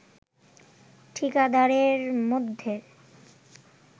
ঠিকাদারদের মধ্যে